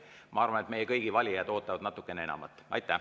Ma arvan, et meie kõigi valijad ootavad natukene enamat.